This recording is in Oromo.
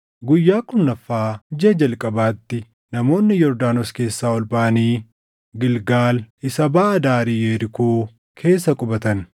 Guyyaa kurnaffaa jiʼa jalqabaatti namoonni Yordaanos keessaa ol baʼanii Gilgaal isa baʼa daarii Yerikoo keessa qubatan.